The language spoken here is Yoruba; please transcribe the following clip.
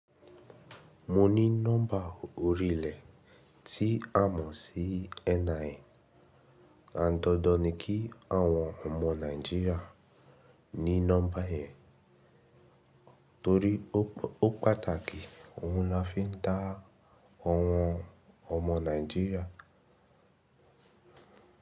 Mo ní nọ́mbà orílẹ̀ tí a mọ̀ sí NIN, àn dandan niki àwọn ọmọọ Náijirea ní nọ́mbà yẹn torí ó pàtàkì ohun lọ́ fi ń dá àwọn ọmọọ Náíjiria.